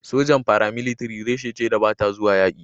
sojan "Paramilitary" reshe ce da ba ta zuwa yaƙi.